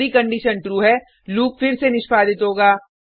यदि condition true है loop फिर से निष्पादित होगा